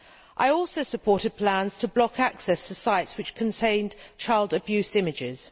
I also supported plans to block access to sites which contained child abuse images.